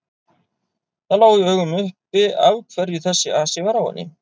Það lá í augum uppi af hverju þessi asi var á henni.